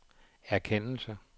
erkendelse